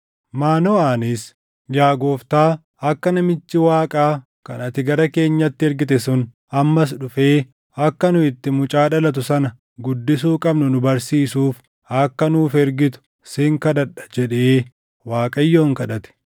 Maanoʼaanis, “Yaa Gooftaa, akka namichi Waaqaa kan ati gara keenyatti ergite sun ammas dhufee akka nu itti mucaa dhalatu sana guddisuu qabnu nu barsiisuuf akka nuuf ergitu sin kadhadha” jedhee Waaqayyoon kadhate.